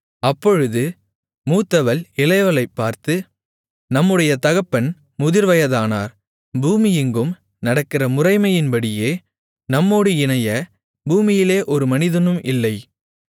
அப்பொழுது மூத்தவள் இளையவளைப் பார்த்து நம்முடைய தகப்பன் முதிர்வயதானார் பூமியெங்கும் நடக்கிற முறைமையின்படியே நம்மோடு இணைய பூமியிலே ஒரு மனிதனும் இல்லை